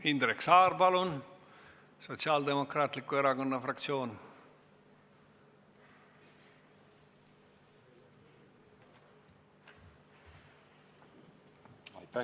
Indrek Saar Sotsiaaldemokraatliku Erakonna fraktsiooni nimel, palun!